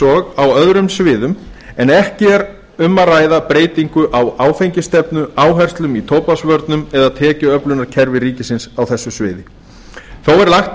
og á öðrum sviðum en ekki er um að ræða breytingu á áfengisstefnu áherslum í tóbaksvörnum eða tekjuöflunarkerfi ríkisins á þessu sviði þó er lagt